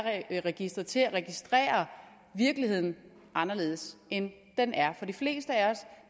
registeret til at registrere virkeligheden anderledes end den er for de fleste af os